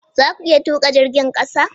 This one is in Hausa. Za ku iya tuka jirgin kasa?